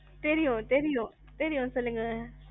தெரியும், தெரியும், தெரியும் சொல்லுங்க.